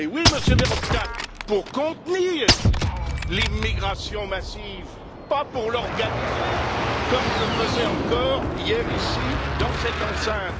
Mais oui, Monsieur Verhofstadt, pour contenir l'immigration massive, pas pour l'organiser, comme on le faisait encore hier ici, dans cette enceinte.